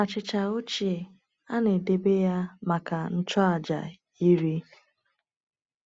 Achịcha ochie a na-edebe ya maka ndị nchụaja iri.